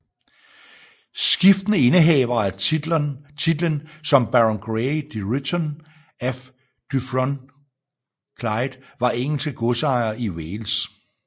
Skiftende indehavere af titlen som Baron Grey de Ruthyn af Dyffryn Clwyd var engelske godsejere i Wales